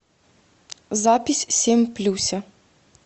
запись семь плюся